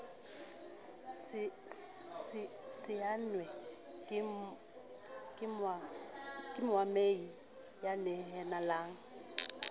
saennwe ke moamehi ya nehelanang